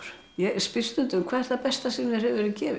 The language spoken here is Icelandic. ég spyr stundum hvað er það besta sem þér hefur verið gefið